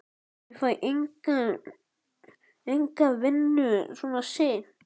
Ég fæ enga vinnu svona seint.